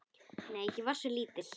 Nei, ég var svo lítil.